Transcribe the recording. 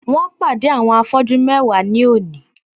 Wón pàdé àwọn afọ́jú mewa ní òní